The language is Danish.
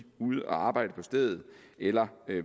ude at arbejde på stedet eller